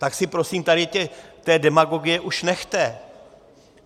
Tak si prosím tady té demagogie už nechte.